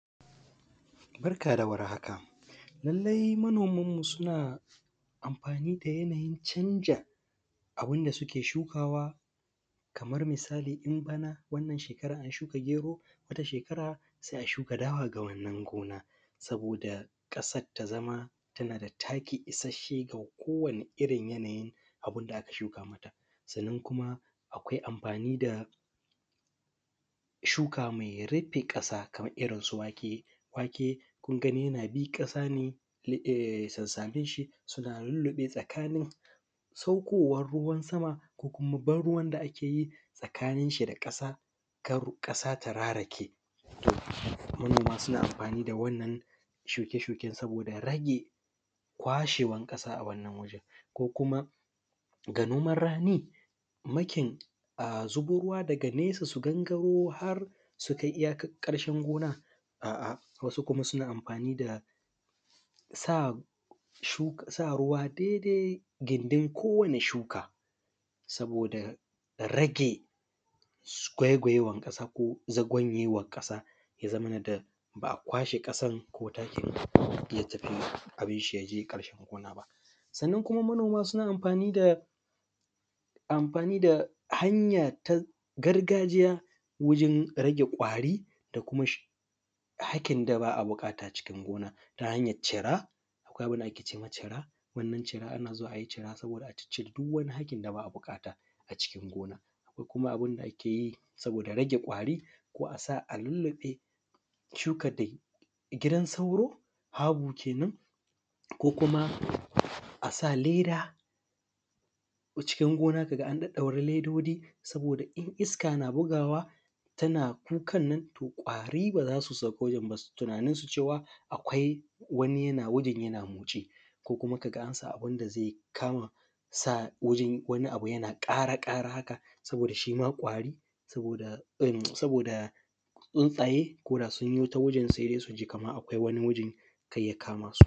Barka dawar haka lallai manoman mu suna amfani ne da yanayin canja abinda suke shukawa Kaman misalin in bana wannan shekaran an shuka gero wata shekara sai a shuka dawa ga wannan gona saboda ƙasar tazama tanada taki isashshe ga ko wani irrin yanayin abunda aka shuka mata. Sannan kuma akwai amfani da shuka mai rufe ƙasa Kaman irrin su wake. Wake kunagan yanabi ƙasane sannaninshi suna fure tsakanin sakkowan ruwa sama ko kuma ruwa da akeyi tsakaninshi da ƙasa, kar ƙasa ta rarake. Manoma suna amfani da wannan shuke shuke saboda rage kwashewan ƙasa a wannan waje, ko kuma ga noman rani mu sako ruwa daga nesa su gangaro hai sukai iyyakan ƙarshen gona. A’a wasu kuma suna amfani da sa ruwa dai dai gindin kowani shuka saboda rage gwaigwayewan ƙasa ko za gwanyewan ƙasa, ya zamana ba’a kwashe ƙasan ko takin yatafi abinshi yakai ƙarshen gona ba. Sannan kuma manoma suna amfani da hanya na gargajiya wajen rage kwari da kuma hakin da ba’a buƙata cikin gona ta hanyan cira, akwai abunda akece ma cira za’a ciccire duk wani hakin da ba’a buƙata ko kuma abunda akeyi saboda rage kwari ko asa a lulluɓe shukan da jidan sauro fabo kenan ko kuma asa leda a cikin gona kaga an ɗaɗɗaura ledoji saboda iska na hurawa tana kukannan kwari bazasu sauko dansu, akwai wani yana wurin yana kwanceko kuma kaga ansa wani abu yana ƙara ƙara haka saboda tsuntsaye wajen suji Kaman akwai wani wajen karya kamasu.